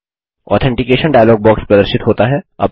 authentication dialog box प्रदर्शित होता है